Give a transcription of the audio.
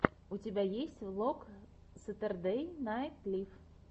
у тебя есть влог сэтердэй найт лив